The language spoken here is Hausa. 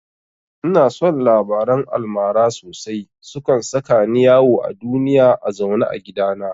Ina son labaran almara sosai, sukan saka ni yawo a duniya a zaune a gidana